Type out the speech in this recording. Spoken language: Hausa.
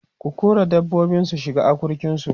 ku kora dabbobin su shiga akurkin su!